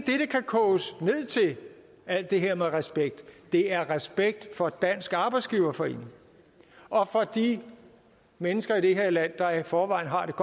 koges ned til alt det her med respekt det er respekt for dansk arbejdsgiverforening og for de mennesker i det her land der i forvejen har det